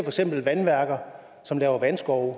eksempel vandværker som laver vandskove